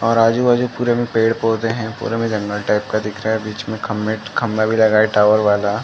और आजू-बाजू पूरे में पेड़-पौधे है। पूरे में जंगल टाइप का दिख रहा है। बीच में खंभे-खंभा भी लगा है टावर वाला।